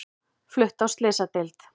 Flutt á slysadeild